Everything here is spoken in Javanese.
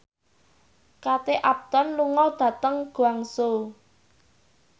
Kate Upton lunga dhateng Guangzhou